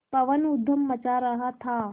पवन ऊधम मचा रहा था